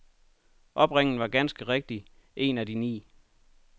Opringningen var ganske rigtigt en af de ni.